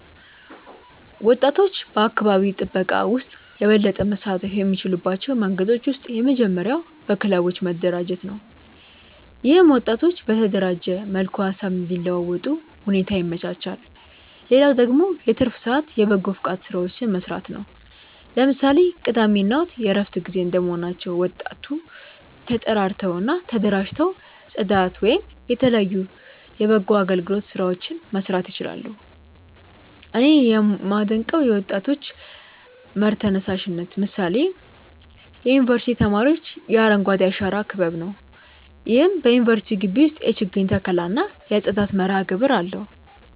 ወጣቶች በአካባቢ ጥበቃ ውስጥ የበለጠ መሳተፍ የሚችሉባቸው መንገዶች ውስጥ የመጀመሪያው በክለቦች መደራጀት ነው። ይህም ወጣቶች በተደራጀ መልኩ ሃሳብ እንዲለዋወጡ ሁኔታ ያመቻቻል። ሌላው ደግሞ የትርፍ ሰአት የበጎፈቃድ ስራዎችን መስራት ነው። ለምሳሌ ቅዳሜ እና እሁድ የእረፍት ጊዜ እንደመሆናቸው ወጣቶ ተጠራርተው እና ተደራጅተው ፅዳት ወይም የተለያዩ የበጎ አገልግሎት ስራዎችን መስራት ይችላሉ። እኔ ያመደንቀው የወጣቶች መር ተነሳሽነት ምሳሌ የዩኒቨርስቲ ተማሪዎች የአረንጓዴ አሻራ ክበብ ነው። ይህም በዩኒቨርስቲው ግቢ ውስጥ የችግኝ ተከላ እና የጽዳት መርሃግብር አለው።